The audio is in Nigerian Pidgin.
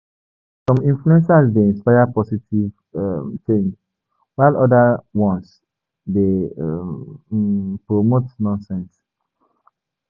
Some influencers dey inspire positive um change, while oda ones dey um promote nonsense.